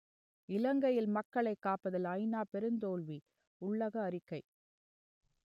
இலங்கையில் மக்களைக் காப்பதில் ஐநா பெருந்தோல்வி உள்ளக அறிக்கை